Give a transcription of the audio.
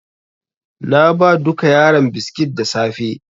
Na ba duka yaran biskit da safe.